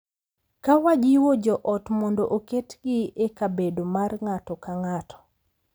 Ka wajiwo jo ot mondo oketgi e kabedo mar ng’ato ka ng’ato.